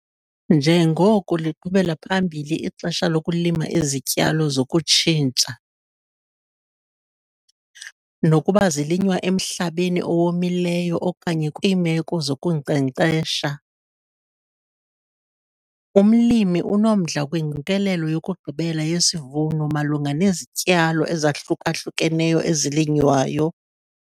NJENGOKO LIQHUBELA PHAMBILI IXESHA LOKULIMA IZITYALO ZOKUTSHINTSHA, NOKUBA ZILINYWA EMHLABENI OWOMILEYO OKANYE KWIIMEKO ZOKUNKCENKCESHA, UMLIMI UNOMDLA KWINGQIKELELO YOKUGQIBELA YESIVUNO MALUNGA NEZITYALO EZAHLUKA-HLUKENEYO EZILINYWAYO.